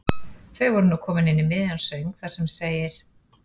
Þau voru nú komin inn í miðjan söng þar sem segir